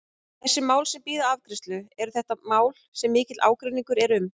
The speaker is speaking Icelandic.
Þessi mál sem bíða afgreiðslu, eru þetta mál sem mikill ágreiningur er um?